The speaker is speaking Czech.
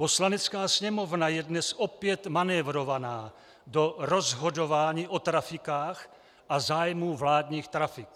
Poslanecká sněmovna je dnes opět manévrovaná do rozhodování o trafikách a zájmu vládních trafik